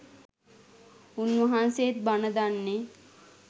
උන්වහන්සෙත් බන දන්නෙ